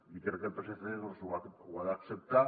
i crec que el psc ho ha d’acceptar